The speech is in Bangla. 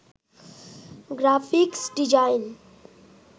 graphics design